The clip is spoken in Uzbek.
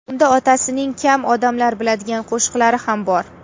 Unda otasining kam odamlar biladigan qo‘shiqlari ham bor.